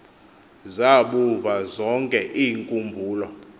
zabuva zonke iinkumbulo